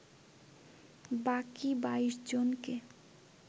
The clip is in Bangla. বাকি ২২ জনকে